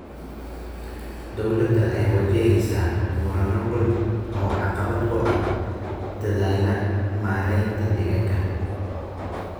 Dowladda ayaa wajaheysa murano dhul oo caqabad ku ah dadaallada maareynta deegaanka.